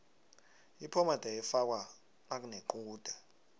iphomede ifakwa nakunequde